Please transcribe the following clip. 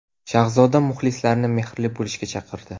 Shahzoda muxlislarini mehrli bo‘lishga chaqirdi.